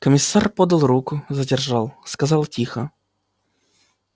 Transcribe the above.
комиссар подал руку задержал сказал тихо